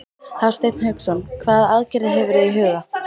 Hafsteinn Hauksson: Hvaða aðgerðir hefurðu í huga?